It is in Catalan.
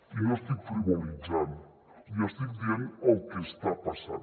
i no estic frivolitzant li estic dient el que està passant